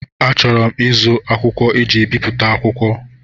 Achọrọ m ịzụ akwụkwọ eji ebipụta akwụkwọ.